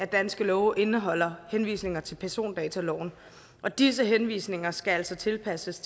danske love indeholder henvisninger til persondataloven og disse henvisninger skal altså tilpasses